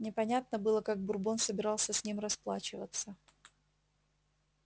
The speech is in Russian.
непонятно было как бурбон собирался с ним расплачиваться